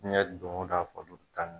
Jɛn don o don faliw bi taa ni